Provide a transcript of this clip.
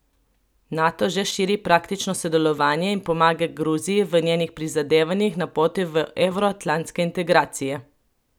Nato že širi praktično sodelovanje in pomaga Gruziji v njenih prizadevanjih na poti v evroatlantske integracije.